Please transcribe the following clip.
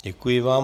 Děkuji vám.